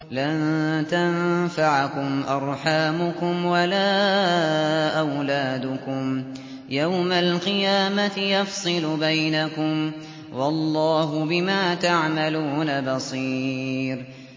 لَن تَنفَعَكُمْ أَرْحَامُكُمْ وَلَا أَوْلَادُكُمْ ۚ يَوْمَ الْقِيَامَةِ يَفْصِلُ بَيْنَكُمْ ۚ وَاللَّهُ بِمَا تَعْمَلُونَ بَصِيرٌ